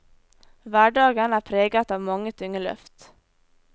Hverdagen er preget av mange tunge løft.